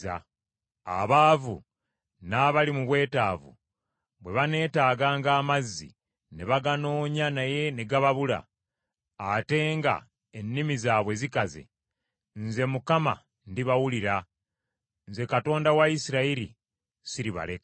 “Abaavu n’abali mu bwetaavu bwe baneetaganga amazzi ne baganoonya naye ne gababula, ate nga ennimi zaabwe zikaze, nze Mukama ndibawulira, nze Katonda wa Isirayiri siribaleka.